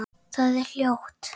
Það er hljótt.